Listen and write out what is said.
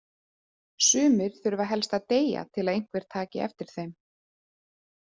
Sumir þurfa helst að deyja til að einhver taki eftir þeim.